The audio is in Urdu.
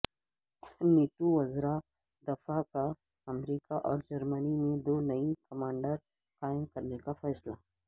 نیٹو وزراء دفاع کا امریکا اور جرمنی میں دو نئی کمانڈز قائم کرنے کا فیصلہ